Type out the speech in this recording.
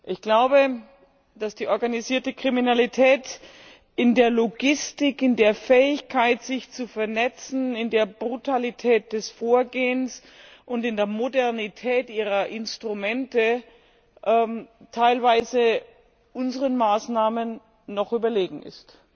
Ich glaube, dass die organisierte Kriminalität in der Logistik, in der Fähigkeit, sich zu vernetzen, in der Brutalität des Vorgehens und in der Modernität ihrer Instrumente teilweise unseren Maßnahmen noch überlegen ist.